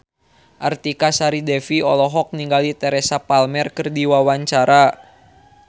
Artika Sari Devi olohok ningali Teresa Palmer keur diwawancara